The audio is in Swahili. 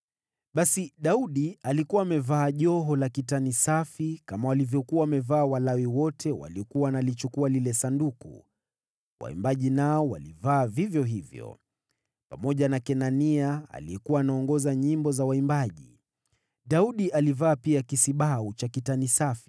Basi Daudi alikuwa amevaa joho la kitani safi, kama walivyokuwa wamevaa Walawi wote waliokuwa wanalichukua lile Sanduku, waimbaji nao walivaa vivyo hivyo, pamoja na Kenania aliyekuwa anaongoza nyimbo za waimbaji. Daudi alivaa pia kisibau cha kitani safi.